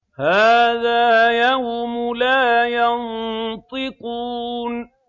هَٰذَا يَوْمُ لَا يَنطِقُونَ